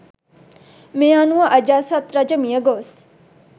මේ අනුව අජාසත් රජ මියගොස්